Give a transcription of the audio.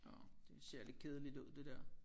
Nåh det ser lidt kedeligt ud det der